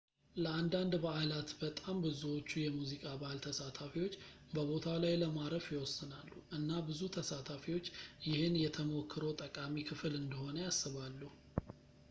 ለአንዳንድ በአላት በጣም ብዙዎቹ የሙዚቃ በአል ተሳታፊዎች በቦታው ላይ ለማረፍ ይወስናሉ እና ብዙ ተሳታፊዎች ይህን የተሞክሮው ጠቃሚ ክፍል እንደሆነ ያስባሉ